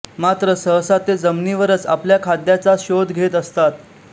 मात्र सहसा ते जमिनीवरच आपल्या खाद्याचा शोध घेत असतात